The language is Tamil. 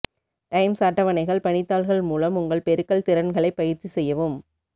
டைம்ஸ் அட்டவணைகள் பணித்தாள்கள் மூலம் உங்கள் பெருக்கல் திறன்களைப் பயிற்சி செய்யவும்